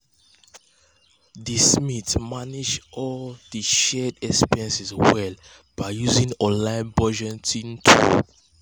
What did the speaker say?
di um smiths manage dir shared um expenses well um by using online budgeting tool.